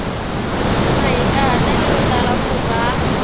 mahikahatelo ya tala ku va